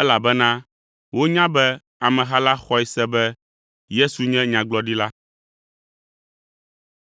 elabena wonya be ameha la xɔe se be Yesu nye Nyagblɔɖila.